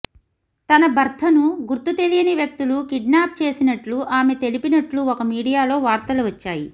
తన భర్తను గుర్తు తెలియని వ్యక్తులు కిడ్నాప్ చేసినట్లు ఆమె తెలిపినట్లు ఒక మీడియాలో వార్తలు వచ్చాయి